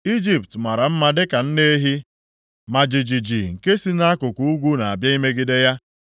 “Ijipt mara mma dịka nne ehi, ma ijiji + 46:20 Odudo na ijiji bụ ihe na-ata anụmanụ nke si nʼakụkụ ugwu, na-abịa imegide ya.